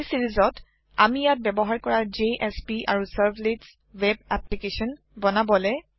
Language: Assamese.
এই চিৰিজত আমি ইয়াত ব্যবহাৰ কৰা জেএছপি আৰু চাৰ্ভলেটছ ৱেব এপ্লিকেচন বনাবলে